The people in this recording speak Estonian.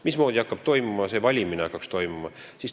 Mismoodi hakkaks see valimine toimuma?